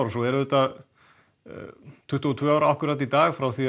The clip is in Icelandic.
og svo eru auðvitað tuttugu og tvö ár í dag frá því